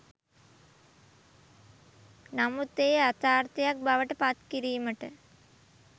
නමුත් එය යථාර්ථයක් බවට පත්කිරීමට